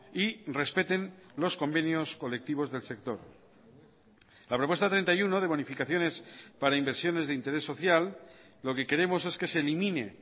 y respeten los convenios colectivos del sector la propuesta treinta y uno de bonificaciones para inversiones de interés social lo que queremos es que se elimine